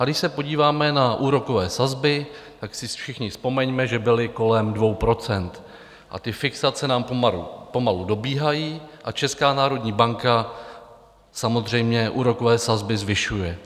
A když se podíváme na úrokové sazby, tak si všichni vzpomeňme, že byly kolem 2 %, a fixace nám pomalu dobíhají a Česká národní banka samozřejmě úrokové sazby zvyšuje.